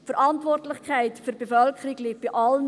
Die Verantwortlichkeit für die Bevölkerung liegt bei allen.